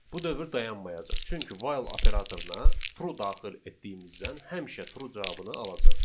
Bu dövr dayanmayacaq, çünki 'while' operatoruna 'true' daxil etdiyimizdən həmişə 'true' cavabını alacaq.